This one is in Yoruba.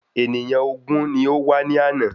Ènìyàn ògún ni ó wá ní àná.